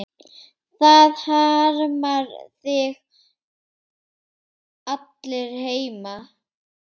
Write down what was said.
Það harma þig allir heima.